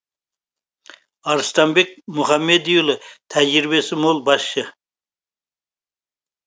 арыстанбек мұхамедиұлы тәжірибесі мол басшы